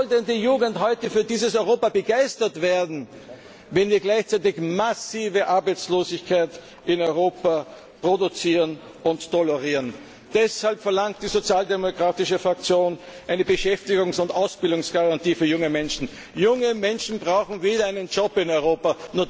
Wie soll denn die Jugend für dieses Europa begeistert werden, wenn wir gleichzeitig massive Arbeitslosigkeit in Europa produzieren und tolerieren? Deshalb verlangt die sozialdemokratische Fraktion eine Beschäftigungs und Ausbildungsgarantie für junge Menschen. Junge Menschen brauchen wieder einen Job in Europa.